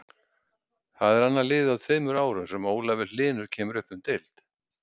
Þetta er annað liðið á tveimur árum sem Ólafur Hlynur kemur upp um deild.